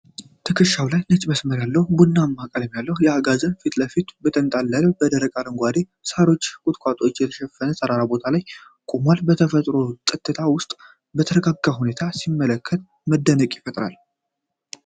ትከሻው ላይ ነጭ መስመር ያለው ቡናማ ቀለም ያለው አጋዘን ከፊት ለፊት በተንጣለለው በደረቅና አረንጓዴ ሳሮች እና ቁጥቋጦዎች በተሸፈነ ተራራማ ቦታ ላይ ቆሟል። በተፈጥሮው ጸጥታ ውስጥ በተረጋጋ ሁኔታ ሲመለከት መደነቅን ይፈጥራል።